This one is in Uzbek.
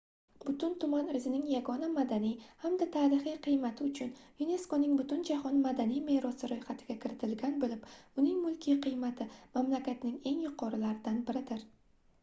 butun tuman oʻzining yagona madaniy hamda tarixiy qiymati uchun yuneskoning butunjahon madaniy merosi roʻyxatiga kiritilgan boʻlib uning mulkiy qiymati mamlakatning eng yuqorilaridan biridir